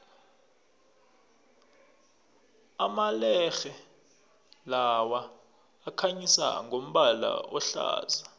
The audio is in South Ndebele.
amalerhe lawa akhanyisa ngombala ohlaza